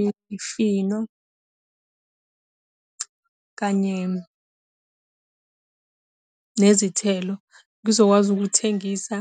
Imifino, kanye nezithelo. Ngizokwazi ukuthengisa,